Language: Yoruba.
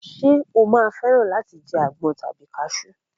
Ṣé o máa fẹ́ràn láti jẹ àgbọn tàbí kasú?